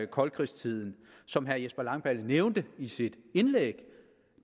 koldkrigstiden som herre jesper langballe nævnte i sit indlæg